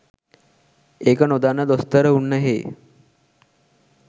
ඒක නොදන්න දොස්තර උන්නැහේ